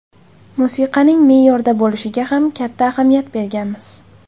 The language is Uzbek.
Musiqaning me’yorda bo‘lishiga ham katta ahamiyat berganmiz.